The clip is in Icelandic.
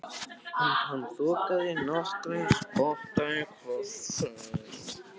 Hann þokaðist nokkurn spotta í hvert sinn.